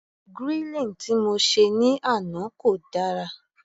Grilling tí mo se ní àná kò dára.